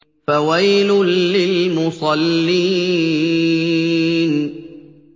فَوَيْلٌ لِّلْمُصَلِّينَ